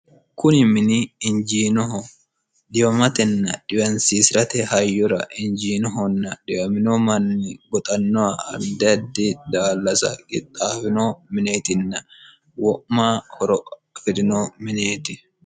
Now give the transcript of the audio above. kuni mini injiinoho dhiwamatenna dhiwansiisi'rate hayyura hinjiinohonna dhiwamino manni goxannoha addi addi dallasa qixxaawino mineetinna wo'ma horo afi'rino minieti